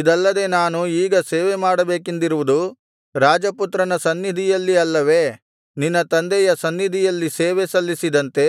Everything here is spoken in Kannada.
ಇದಲ್ಲದೆ ನಾನು ಈಗ ಸೇವೆಮಾಡಬೇಕೆಂದಿರುವುದು ರಾಜಪುತ್ರನ ಸನ್ನಿಧಿಯಲ್ಲಿ ಅಲ್ಲವೇ ನಿನ್ನ ತಂದೆಯ ಸನ್ನಿಧಿಯಲ್ಲಿ ಸೇವೆ ಸಲ್ಲಿಸಿದಂತೆ